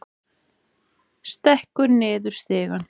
Stekkur niður stigann.